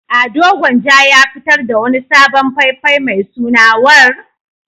Ado Gwanja ya fitar da wani sabon fai-fai mai suna "War".